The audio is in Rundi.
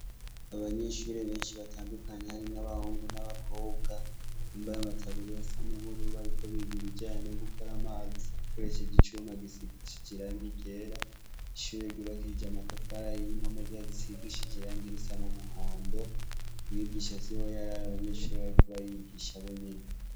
Abanyeshuri benshi batandukanye hari nk'abahungu n'abakobwa yumbaye amataburi y a sa n'umuruba ari ko bidi bijanye no gukora amazi kkuresheje icuma gisigishi j irange gera ishuri gibakishije amatafara yiyo impome zazisigishijirange irusana umuhondo mwigisha si wo yari ari abanyeshuri barikuba arigisha bo nyene.